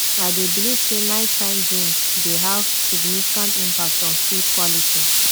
i dey believe say nighttime dreams dey have significant impact on sleep quality